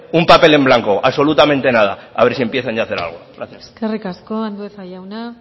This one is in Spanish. un papel en blanco absolutamente nada a ver si empiezan ya hacer algo gracias eskerrik asko andueza jauna